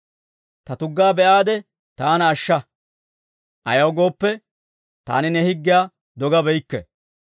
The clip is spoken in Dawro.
Ta tuggaa be'aade, taana ashsha; ayaw gooppe, taani ne higgiyaa dogabeykke.